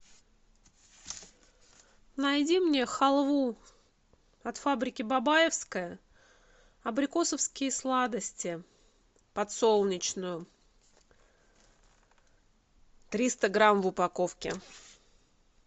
найди мне халву от фабрики бабаевская абрикосовские сладости подсолнечную триста грамм в упаковке